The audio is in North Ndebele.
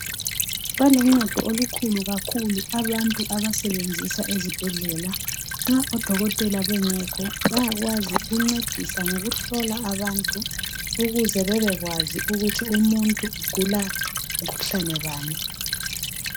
Baluncedo olukhulu kakhulu abantu abasebenzisa ezibhedlela nxa odokotela bengekho bayakwazi ukuncedisa ngokuhlola abantu ukuze bebekwazi ukuthi umuntu ugula mkhuhlane bani.